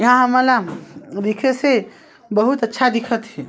यहाँ हमन ला दिखे से बहुत अच्छा दिखत हे।